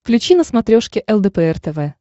включи на смотрешке лдпр тв